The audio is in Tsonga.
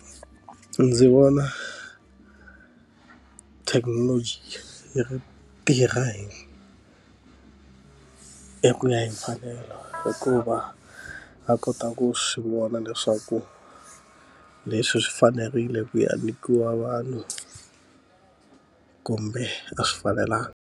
Ndzi vona thekinoloji yi ri tirha hi hi ku ya hi mfanelo hi ku va a kota ku swi vona leswaku leswi swi fanerile ku yi a nyikiwa vanhu, kumbe a swi fanelanga.